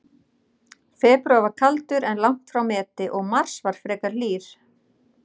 Febrúar var kaldur, en langt frá meti, og mars var frekar hlýr.